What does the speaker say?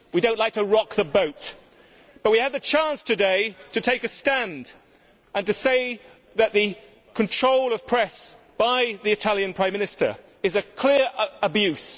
We do not like to rock the boat, but we had the chance today to take a stand and to say that control of the press by the Italian Prime Minister is a clear abuse.